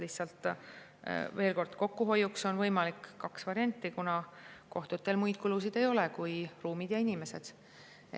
Lihtsalt veel kord: kokkuhoiuks on võimalikud kaks varianti, kuna kohtutel muid kulusid ei ole kui ruumid ja inimesed.